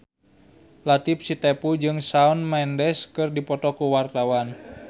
Latief Sitepu jeung Shawn Mendes keur dipoto ku wartawan